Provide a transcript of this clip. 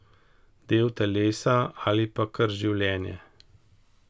Del telesa, ali pa kar življenje!